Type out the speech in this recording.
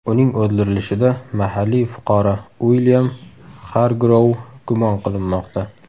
Uning o‘ldirilishida mahalliy fuqaro Uilyam Xargrouv gumon qilinmoqda.